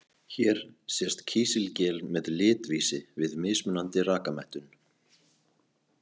Hér sést kísilgel með litvísi við mismunandi rakamettun.